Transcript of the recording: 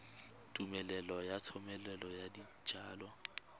tumelelo ya thomeloteng ya dijalo